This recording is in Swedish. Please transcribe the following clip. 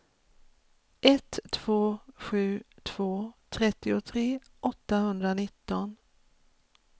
ett två sju två trettiotre åttahundranitton